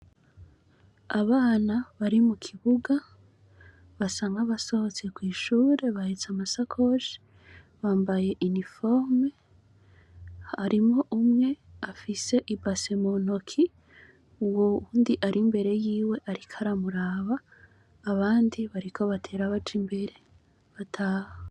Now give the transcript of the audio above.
Abana bari mukibuga basa nkabasohotse kwishure bahetse amasakoshi bambaye uniforme harimwo umwe afise ibase muntoke uwundi ari imbere ariko aramuraba abandi bariko batera baja imbere bataha